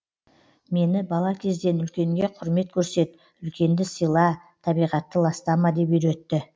мені бала кезден үлкенге құрмет көрсет үлкенді сыйла табиғатты ластама деп үйретті